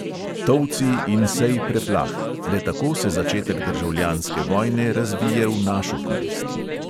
Tolci in sej preplah, le tako se začetek državljanske vojne razvije v našo korist.